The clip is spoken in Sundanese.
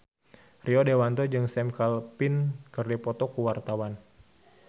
Rio Dewanto jeung Sam Claflin keur dipoto ku wartawan